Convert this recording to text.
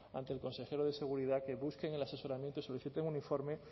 ante el consejero de seguridad que busquen el asesoramiento y soliciten un informe